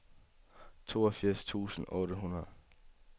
toogfirs tusind otte hundrede